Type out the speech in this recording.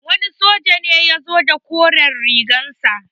Wani soja ne ya zo da koren rigar sa.